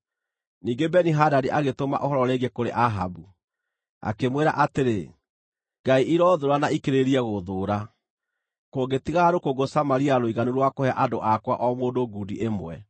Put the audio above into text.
Ningĩ Beni-Hadadi agĩtũma ũhoro rĩngĩ kũrĩ Ahabu, akĩmwĩra atĩrĩ, “Ngai iroothũũra na ikĩrĩrĩrie gũthũũra, kũngĩtigara rũkũngũ Samaria rũiganu rwa kũhe andũ akwa o mũndũ ngundi ĩmwe.”